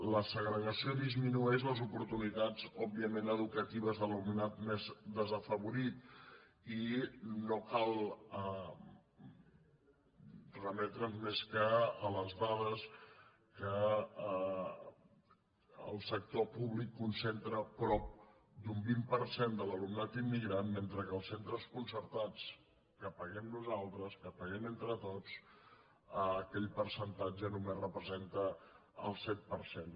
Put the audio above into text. la segregació disminueix les oportunitats òbviament educatives de l’alumnat més desafavorit i no cal remetre’ns més que a les dades que el sector públic concentra prop d’un vint per cent de l’alumnat immigrant mentre que els centres concertats que paguem nosaltres que paguem entre tots aquell percentatge només representa el set per cent